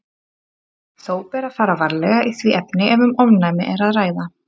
Þó ber að fara varlega í því efni ef um ofnæmi er að ræða.